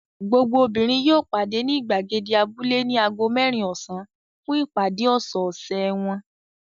Gbogbo obìnrin yóò pàdé ní ìgbàgede abúlé ní ago mẹ́rin ọ̀sán fún ìpàdé ọ̀sẹ̀ẹ̀sẹ̀ wọn.